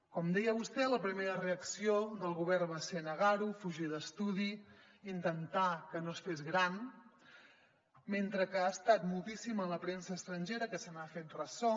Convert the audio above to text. com deia vostè la primera reacció del govern va ser negar ho fugir d’estudi intentar que no es fes gran mentre que ha estat moltíssima la premsa estrangera que se n’ha fet ressò